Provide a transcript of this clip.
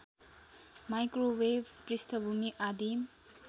microwave पृष्ठभूमि आदिम